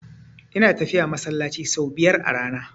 Ina tafiya masallaci sau biyar a rana.